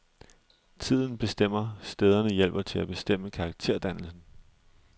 Tiden bestemmer, stederne hjælper til at bestemme karakterdannelsen.